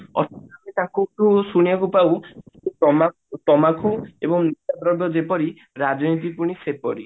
ଶୁଣିବାକୁ ପାଉ ତମାଖୁ ତମାଖୁ ଏବଂ ଯେପରି ରାଜନୀତି ହଉଛି ସେପରି